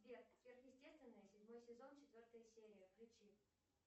сбер сверхъестественное седьмой сезон четвертая серия включи